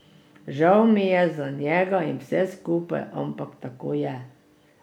Žal mi je za njega in vse skupaj, ampak tako je.